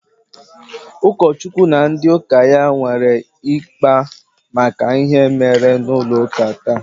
Ụkọchukwu na ndị ụka ya nwere ịkpa maka ihe i mere n'ụlọ ụka taa?